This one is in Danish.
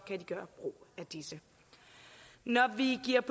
kan gøre brug af disse når vi giver